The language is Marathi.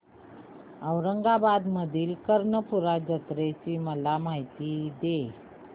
औरंगाबाद मधील कर्णपूरा जत्रेची मला माहिती दे